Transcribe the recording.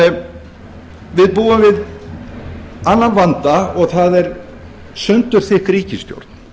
en við búum við annan vanda og það er sundurþykk ríkisstjórn